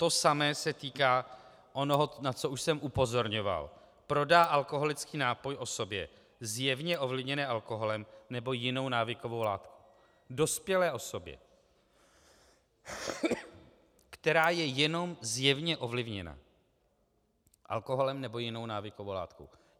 To samé se týká toho, na co už jsem upozorňoval: Prodá alkoholický nápoj osobě zjevně ovlivněné alkoholem nebo jinou návykovou látkou, dospělé osobě, která je jenom zjevně ovlivněna alkoholem nebo jinou návykovou látkou.